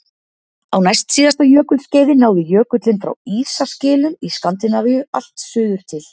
Á næstsíðasta jökulskeiði náði jökullinn frá ísaskilum í Skandinavíu allt suður til